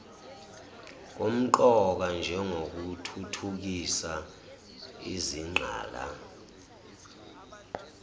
kumqoka njengokuthuthukisa izingqala